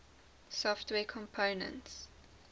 software components